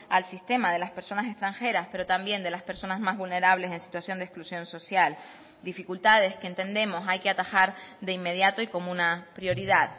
al sistema de las personas extranjeras pero también de las personas más vulnerables en situación de exclusión social dificultades que entendemos hay que atajar de inmediato y como una prioridad